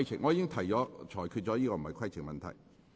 我已裁決這並非規程問題。